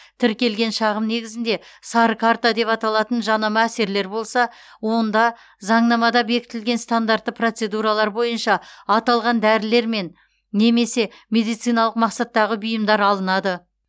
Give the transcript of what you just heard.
тіркелген шағым негізінде сары карта деп аталатын жанама әсерлер болса онда заңнамада бекітілген стандартты процедуралар бойынша аталған дәрілермен немесе медициналық мақсаттағы бұйымдар алынады